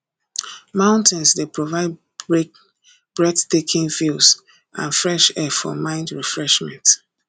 mountains dey provide breathtaking views and fresh air for mind refreshment